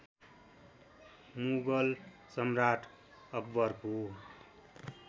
मुगल सम्राट अकबरको